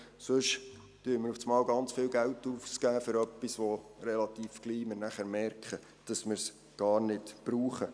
Sonst geben wir plötzlich sehr viel Geld für etwas aus, bei dem wir nachher relativ bald merken, dass wir es gar nicht brauchen.